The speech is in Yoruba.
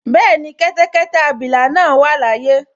Bẹ́ẹ̀ni, kẹ́tẹ́kẹ́tẹ́ abilà náà wà láyé